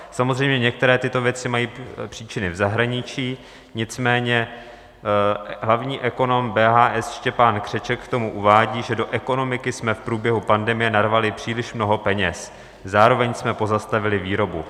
Samozřejmě některé tyto věci mají příčiny v zahraničí, nicméně hlavní ekonom BHS Štěpán Křeček k tomu uvádí, že do ekonomiky jsme v průběhu pandemie narvali příliš mnoho peněz, zároveň jsme pozastavili výrobu.